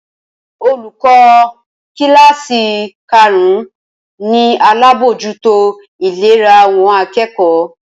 Olùkọ́ kíláàsì karùn-ún ni alábójútó ìlera àwọn akẹ́kọ̀ọ́